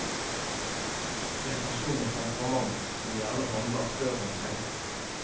En person med temperament som gjerne handler før han tenker.